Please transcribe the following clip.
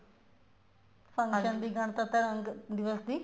function ਦੀ ਗਣਤੰਤਰਾ ਦਿਵਸ ਦੀ